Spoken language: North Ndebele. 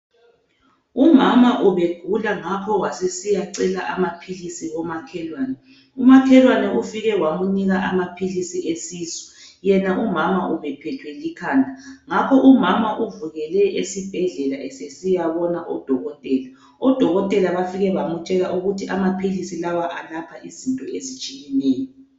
Umama ubegula ngakho wasesiyacela amaphilisi komakhelwane. Umakhelwane ufike wamunika amaphilisi esisu, yena umama ubephethwe likhanda. Ngakho umama uvukele esibhedlela esesiyabona udokotela. oOdokotela bafike bamutshela ukuthi amaphilisi la alapha izinto ezitshiyeneyo.